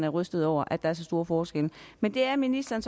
rystet over at der er så store forskelle men det er ministeren